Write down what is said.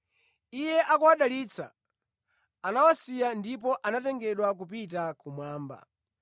Iye akuwadalitsa, anawasiya ndipo anatengedwa kupita kumwamba.